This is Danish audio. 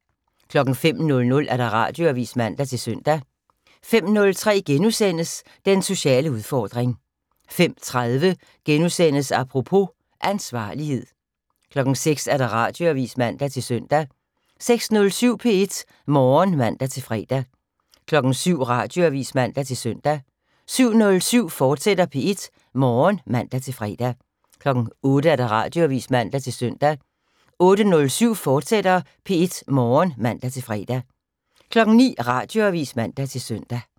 05:00: Radioavis (man-søn) 05:03: Den sociale udfordring * 05:30: Apropos - Ansvarlighed * 06:00: Radioavis (man-søn) 06:07: P1 Morgen (man-fre) 07:00: Radioavis (man-søn) 07:07: P1 Morgen, fortsat (man-fre) 08:00: Radioavis (man-søn) 08:07: P1 Morgen, fortsat (man-fre) 09:00: Radioavis (man-søn)